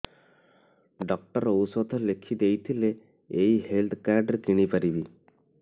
doctor ଔଷଧ ଲେଖିଦେଇଥିଲେ ଏଇ ହେଲ୍ଥ କାର୍ଡ ରେ କିଣିପାରିବି